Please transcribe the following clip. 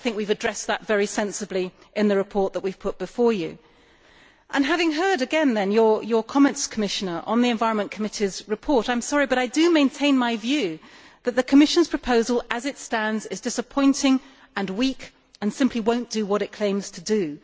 I think we have addressed that very sensibly in the report that we have put before you. Having heard again your comments, Commissioner, on the Environment Committee's report, I am afraid I do maintain my view that the Commission's proposal as it stands is disappointing and weak and simply will not do what it claims to do.